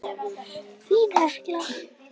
Þín, Hekla.